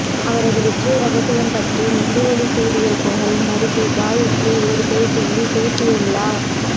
அவரது வெற்றி ரகசியம் பற்றி மெட்டிஒலி சீரியல் புகழ் நடிகை காயத்ரி ஒரு பேட்டியில் பேசியுள்ளார்